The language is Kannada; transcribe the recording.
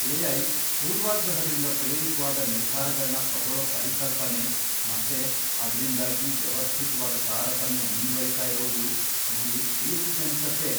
ಎ.ಐ. ಪೂರ್ವಾಗ್ರಹದಿಂದ ಪ್ರೇರಿತ್ವಾದ ನಿರ್ಧಾರಗಳ್ನ ತಗೊಳೋ ಪರಿಕಲ್ಪನೆ, ಮತ್ತೆ ಅದ್ರಿಂದಾಗಿ ವ್ಯವಸ್ಥಿತ್ವಾದ್ ತಾರತಮ್ಯ ಮುಂದ್ವರೀತಾ ಇರೋದು ನಂಗೆ ಹೇಸಿಗೆ ಅನ್ಸತ್ತೆ.